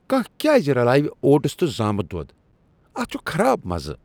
کانٛہہ کیٛاز رلاوِ اوٹس تہٕ زامُت دۄد ؟ اتھ چھُ خراب مزٕ ۔